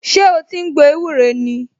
Ṣé o ti ń gbo ewúro ni?